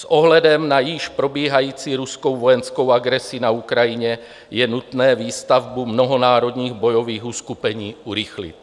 S ohledem na již probíhající ruskou vojenskou agresi na Ukrajině je nutné výstavbu mnohonárodních bojových uskupení urychlit.